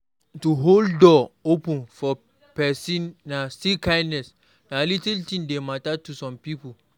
To hold door open for persin na still kindness na little things de matter to some pipo